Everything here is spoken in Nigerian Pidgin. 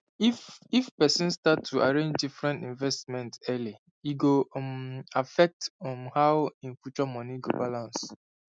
if if person start to arrange different investment early e go um affect um how e future money go balance